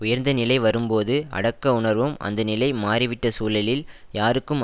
உயர்ந்த நிலை வரும்போது அடக்க உணர்வும் அந்த நிலை மாறிவிட்ட சூழலில் யாருக்கும்